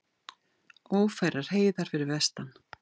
Ófærar heiðar fyrir vestan